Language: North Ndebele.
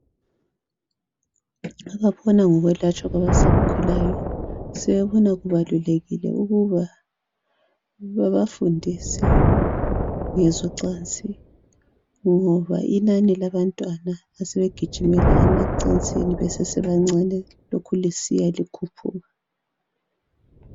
Ababona ngokwelatshwa kwabasakhulayo sebebona kubalulekile ukuba babafundise ngezocansi ngoba inani labantwana asebegijimela emacansini besesebancane liya lisanda.